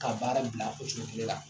Ka baara bila o cogo kelen la.